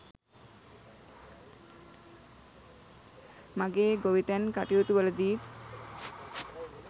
මගේ ගොවිතැන් කටයුතු වලදීත්